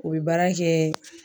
U bi baara kɛ